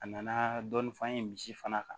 A nana dɔɔni f'an ye misi fana kan